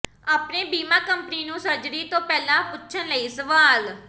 ਆਪਣੇ ਬੀਮਾ ਕੰਪਨੀ ਨੂੰ ਸਰਜਰੀ ਤੋਂ ਪਹਿਲਾਂ ਪੁੱਛਣ ਲਈ ਸਵਾਲ